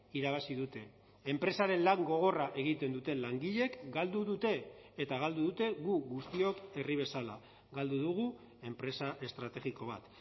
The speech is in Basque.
irabazi dute enpresaren lan gogorra egiten duten langileek galdu dute eta galdu dute gu guztiok herri bezala galdu dugu enpresa estrategiko bat